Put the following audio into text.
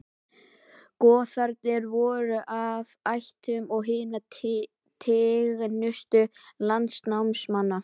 Goðarnir voru af ættum hinna tignustu landnámsmanna.